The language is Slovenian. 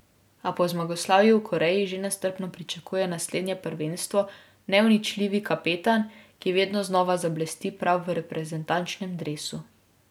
A po zmagoslavju v Koreji že nestrpno pričakuje naslednje prvenstvo neuničljivi kapetan, ki vedno znova zablesti prav v reprezentančnem dresu.